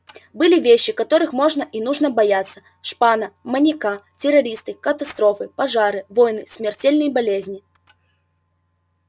были вещи которых можно и нужно бояться шпана маньяки террористы катастрофы пожары войны смертельные болезни